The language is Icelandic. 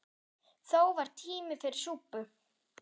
Þó var tími fyrir súpu.